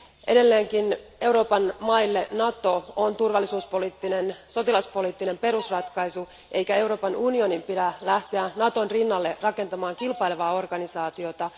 Edelleenkin Euroopan maille Nato on turvallisuuspoliittinen ja sotilaspoliittinen perusratkaisu, eikä Euroopan unionin pidä lähteä Naton rinnalle rakentamaan kilpailevaa organisaatiota.